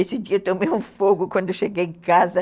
Esse dia eu tomei um fogo quando cheguei em casa.